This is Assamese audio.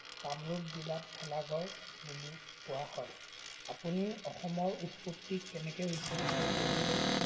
কামৰূপ জিলাত ভেলাঘৰ বুলিও কোৱা হয়। আপুনি অসমৰ উৎপত্তি কেনেকে হৈছে অলপ ক'বচোন।